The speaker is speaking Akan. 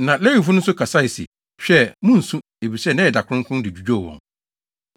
Na Lewifo no nso kasae se, “Hwɛ! Munnsu. Efisɛ nnɛ yɛ da kronkron” de dwudwoo wɔn.